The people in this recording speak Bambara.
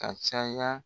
Ka caya